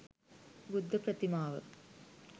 බුද්ධ ප්‍රතිමාව